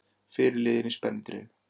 Fyrirliðinn í spennitreyju